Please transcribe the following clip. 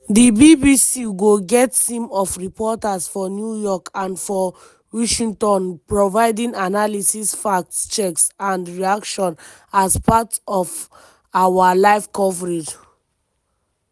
di bbc go get team of reporters for new york and for washington providing analysis fact checks and reactions as part of our live coverage.